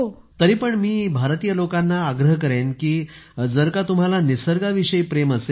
तरीपण मी भारतीय लोकांना आग्रह करेन कि जर का तुम्हाला निसर्गाविषयी प्रेम असेल